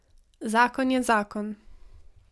Zakon je zakon.